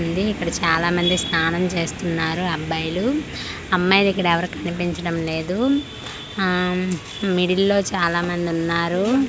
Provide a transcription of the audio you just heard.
ఉంది ఇక్కడ చాలా మంది స్నానం చేస్తున్నారు అబ్బాయిలు అమ్మాయిలుక్కడెవరూ కనిపించడం లేదు ఆమ్ మిడిల్ లో చాలామందున్నారు.